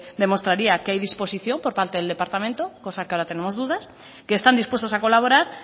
demostraría que hay disposición por parte del departamento cosa que ahora tenemos dudas que están dispuestos a colaborar